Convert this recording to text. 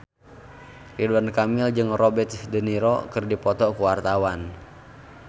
Ridwan Kamil jeung Robert de Niro keur dipoto ku wartawan